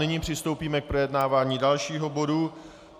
Nyní přistoupíme k projednávání dalšího bodu.